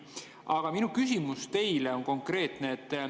Aga minu küsimus teile on konkreetne.